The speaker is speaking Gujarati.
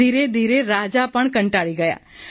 ધીરે ધીરે રાજા પણ કંટાળી ગયા